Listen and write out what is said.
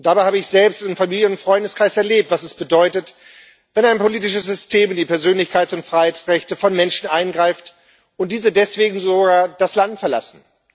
Dabei habe ich selbst in Familie und Freundeskreis erlebt, was es bedeutet, wenn ein politisches System in die Persönlichkeits und Freiheitsrechte von Menschen eingreift und diese deswegen sogar das Land verlassen.